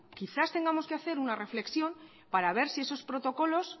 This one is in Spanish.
quizás tengamos que hacer una reflexión para ver si esos protocolos